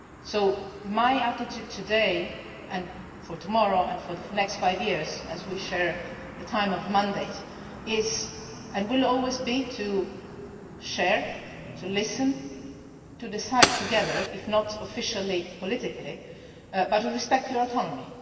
it, so my attitude today and for tomorrow and for the next five years, as we share the period of mandates, is and will always be to share, to listen, to decide together, if not officially politically, but to respect your autonomy.